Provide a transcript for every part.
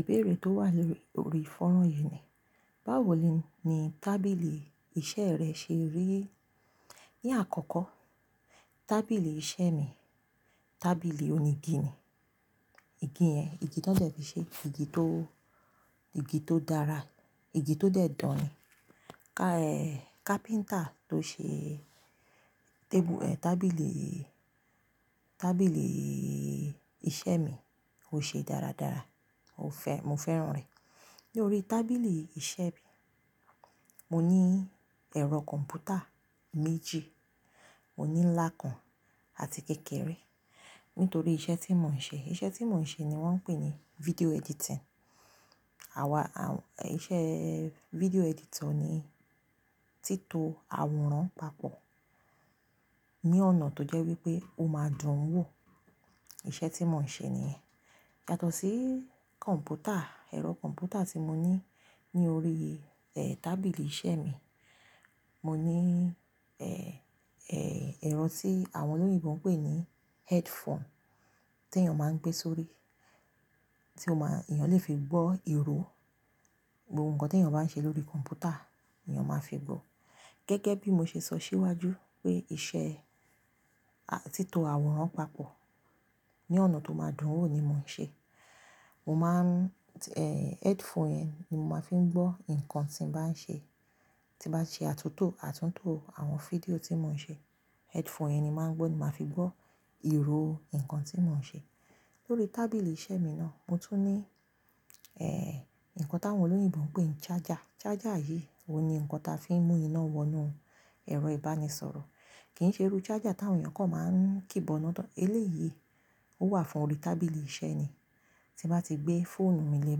Ìbéèrè tó wà lórí, lórí fọ́nrán yìí ni, báwo ni, ni tábìlì iṣẹ́ rẹ ṣe rí? Ní àkọ́kọ́, tábìlì iṣẹ́ mi, tábìlì onígi ni. Igi yẹn, igi tọ dẹ fi ṣe, igi tó, igi tó dára, igi tó dẹ̀ dán ni. Ká ẹ, kápíńtà tó ṣe tébù ẹ, tábìlì, tábìlììì iṣẹ́ mi, ó ṣe é dáradára, ó fẹ́, mo fẹ́ràn rẹ̀. Ni órí tábìlì iṣẹ́ mi, mo ní ẹ̀rọ kọ̀m̀pútà méjì, mo ní ńlá kan àti kékeré. Nítorí iṣẹ́ tí mò ń ṣe, iṣẹ́ tí mò ń ṣe ni wọ́n ń pè ní video editing. Àwa, a, iṣẹ́ video ẹditọ ni tító àwòrán papọ̀ ní ọ̀nà tó jẹ́ wípé ó máa dùn ún wò. Iṣẹ́ tí mò ń ṣe nìyẹn. Yàtọ̀ sí kọ̀m̀pútà, ẹ̀rọ kọ̀m̀pútà tí mo ní ní orí, ẹ, tábìlì iṣẹ́ mi, mo ní, ẹ, ẹ, ẹ̀rọ tí àwọn olóyìnbo ń pè ní headphone tí èèyàn máa ń gbé sórí, tí ó má, èèyàn lè fi gbọ́ ìró, gbogbo nǹkan tí èèyàn bá ń ṣe lórí kọ̀m̀pútà, èèyàn máa fi gbọ́. Gẹ́gẹ́ bí mo ṣe sọ síwájú wípé iṣẹ́, a, tító àwòrán papọ̀ ní ọ̀nà tó máa dùn ún wò ni mò ń ṣe. Mo máa ń, ẹ, headphone yẹn ni mo máa ń fi gbọ́ nǹkan tí mo bá ń ṣe. Tí bá n ṣe àtúntò, àtúntò àwọn fídíò tí mò ń ṣe, headphone yẹn ni máa ń gbọ́, ni máa fi gbọ́ ìró, nǹkan tí mò ń ṣe. Lórí tábìlì iṣẹ́ mi náà, mo tún ní, ẹ, nǹkan tí àwọn olóyìnbo ń pè ní ṣaja. Ṣaja yìí, òun ni nǹkan tí a fi ń mú iná wọnú ẹ̀rọ ìbánisọ̀rọ̀. Kì ń ṣe irú ṣaja tí àwọn èèyàn kọ̀ máa ń kíbọná tán. Eléyìí ó wà fún orí tábìlì iṣẹ́ ni. Tí bá ti gbé fóònù mi lé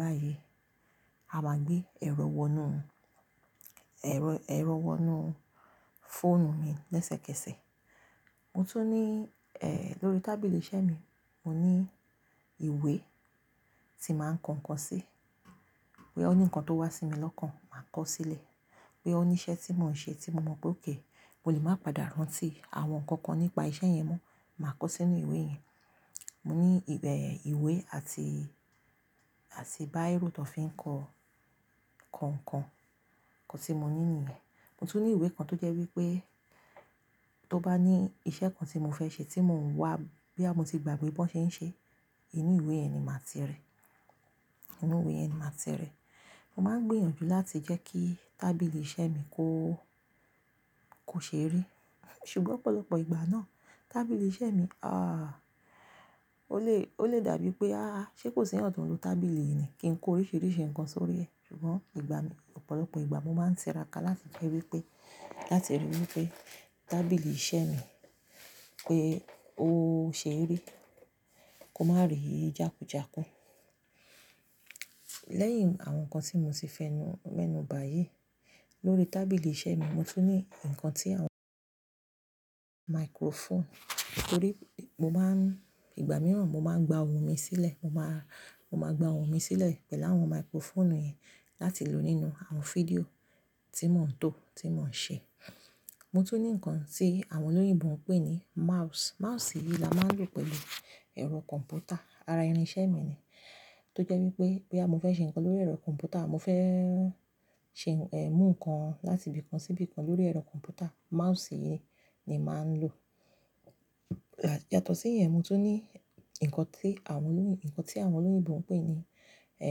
báyìí, a máa gbé ẹ̀rọ wọnú, ẹ̀rọ, ẹ̀rọ wọnú fóònù mi lẹ́sẹ̀kẹsẹ̀. Mo tún ní, ẹ, lórí tábìlì iṣẹ́ mi, mo ní ìwé tí màá ń kọ nǹkan sí. Bo ya ó ní nǹkan tó wá sí mi lọ́kàn, màá kọ sílẹ̀. Bo ya ó ní iṣẹ́ tí mò ń ṣe tí mo mọ̀ pé ókè, mo lè máa padà rántí àwọn nǹkan kan nípa iṣẹ́ yẹn mọ́, màá kọ sínú ìwé yẹn. Mo ní ẹ ìwé, ìwé àti, àti báírò tọ fi ń kọ, kọ nǹkan, nkan tí mo ní nìyẹn. Mo tún ní ìwé kan tó jẹ́ wípé tó bá ní iṣẹ́ kan tí mò fẹ́ ṣe tí mò ń wá, bí a mo ti gbàgbé bí wọ́n ṣe ń ṣe é, inú ìwé yẹn ni màá ti rí. Inú ìwé yẹn ni màá ti rí. Mo máa ń gbìyànjú láti jẹ́ kí tábìlì iṣẹ́ mi kó, kò ṣe rí. Ṣùgbọ́n ọ̀pọ̀lọpọ̀ ìgbà náà, tábìlì iṣẹ́ mi, a, ó lè, ó lè dàbí pé, a, ṣé kò sì ẹ̀yàn tó ń lo tábìlì yìí ni? Kì ń kó oríṣìíríṣìí nǹkan sórí ẹ. Ṣùgbọ́n ìgbà mi, ọ̀pọ̀lọpọ̀ ìgbà mo máa ń tìrákà láti jẹ́ wípé, láti rí wípé tábìlì iṣẹ́ mi pé ó ṣe rí, kó má rí jàkújàkú. Lẹ́yìn àwọn nǹkan tí mo ti fẹnu, mẹ́nu báyìí, lórí tábìlì iṣẹ́ mi, mo tún ní nǹkan tí àwọn maikrofoonu. Nítorí mo máa ń, ìgbà mìíràn mo máa ń gba ohùn mi sílẹ̀. Mo máa, mo máa gba ohùn mi sílẹ̀ pẹ̀lú àwọn maikrofoonu yẹn láti lo nínú àwọn fídíò tí mò ń to, tí mò ń ṣe. Lórí tábìlì iṣẹ́ mi náà, mo tún ní, ẹ, nǹkan tí àwọn olóyìnbo ń pè ní ṣaja. Ṣaja yìí, òun ni nǹkan tí a fi ń mú iná wọnú ẹ̀rọ ìbánisọ̀rọ̀. Tó jẹ́ wípé bo ya mo fẹ́ ṣe nǹkan lórí ẹ̀rọ kọ̀m̀pútà, mo fẹ́ ṣe, ẹ, mú nǹkan láti bí i kan sí bí i kan lórí ẹ̀rọ kọ̀m̀pútà, mahusi yìí ni màá ń lò. Yàtọ̀ sí ìyẹn, mo tún ní nǹkan tí àwọn olóyìn, nǹkan tí àwọn olóyìnbó ń pè ní, ẹ,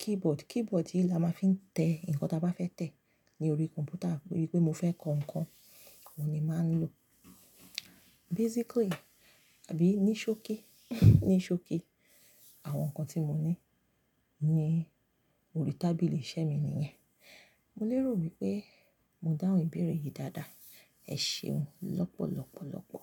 keyboard. Keyboard yìí la máa ń fi tẹ nǹkan tí a bá fẹ́ tẹ̀ ní orí kọ̀m̀pútà. Bí i pé mo fẹ́ kọ nǹkan, òun ni màá ń lò. Basically, àbí ní ṣókí, ní ṣókí, àwọn nǹkan tí mo ní ní orí tábìlì iṣẹ́ mi nìyẹn. Mo lérò wípé mo dáhùn ìbéèrè yìí dáadáa. Ẹ ṣeun lọ́pọ̀lọ́pọ̀lọ́pọ̀.